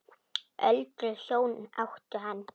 Öldruð hjón áttu hann.